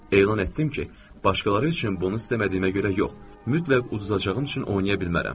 Elan etdim ki, başqaları üçün bunu istəmədiyimə görə yox, mütləq uzadacağım üçün oynaya bilmərəm.